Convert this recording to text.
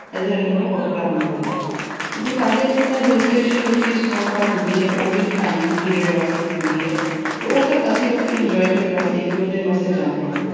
ਇਧਰ ਨਾਲੋਂ ਵੱਖਰਾ ਹੁੰਦਾ ਹੈ ਕਿਉਂਕਿ ਸਾਡੇ ਇੱਥੇ ਤਾਂ hill station ਵਿੱਚ ਹੀ snowfall ਹੁੰਦੀ ਹੈ, ਉਹ ਵੀ ਇੱਕ time period ਵਾਸਤੇ ਹੁੰਦੀ ਏ ਤੇ ਉਸ ਅਸੀਂ ਲੋਕੀ enjoy ਕਰਨ ਵਾਸਤੇ, ਇੱਕ-ਦੋ ਦਿਨ ਵਾਸਤੇ ਜਾਂਦੇ ਆ।